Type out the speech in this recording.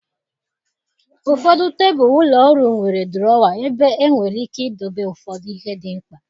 Ụfọdụ tebụl ụlọ ọrụ nwere drawer, ebe enwere ike idobe ụfọdụ ihe dị mkpa.